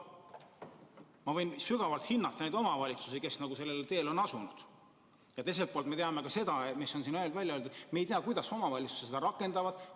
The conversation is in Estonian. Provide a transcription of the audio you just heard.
Ma võin vägagi hinnata neid omavalitsusi, kes sellele teele on asunud, aga teiselt poolt on ka siin välja öeldud, et me ei tea, kuidas omavalitsused seda rakendavad.